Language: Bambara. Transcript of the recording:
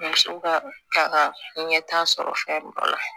Musow ka ta ka ɲɛta sɔrɔ fɛn dɔ la